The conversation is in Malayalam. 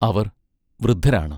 അവർ വൃദ്ധരാണ്.